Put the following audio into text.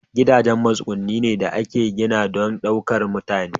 Gidajen matsuguni ne da aka gina don ɗaukar mutane.